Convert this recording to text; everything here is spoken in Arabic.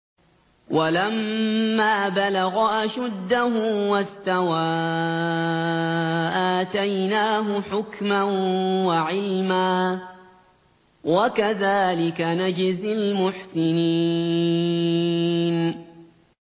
وَلَمَّا بَلَغَ أَشُدَّهُ وَاسْتَوَىٰ آتَيْنَاهُ حُكْمًا وَعِلْمًا ۚ وَكَذَٰلِكَ نَجْزِي الْمُحْسِنِينَ